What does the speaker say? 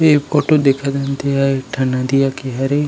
ये एक फोटो दिखत हन ते ह एक नदिया के हरे।